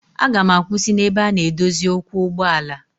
Aga m akwụsị n'ebe a na-edozi ụkwụ ụgbọala.